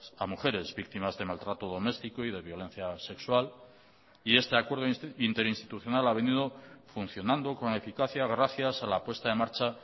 a mujeres víctimas de maltrato doméstico y de violencia sexual y este acuerdo interinstitucional ha venido funcionando con eficacia gracias a la puesta en marcha